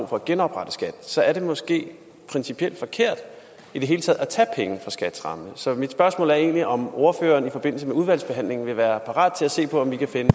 for at genoprette skat så er det måske principielt forkert i det hele taget at tage penge fra skats ramme så mit spørgsmål er egentlig om ordføreren i forbindelse med udvalgsbehandlingen vil være parat til at se på om vi kan finde